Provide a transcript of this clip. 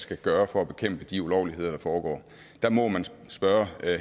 skal gøre for at bekæmpe de ulovligheder der foregår der må man spørge